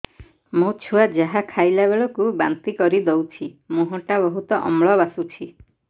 ମୋ ଛୁଆ ଯାହା ଖାଇଲା ବେଳକୁ ବାନ୍ତି କରିଦଉଛି ମୁହଁ ଟା ବହୁତ ଅମ୍ଳ ବାସୁଛି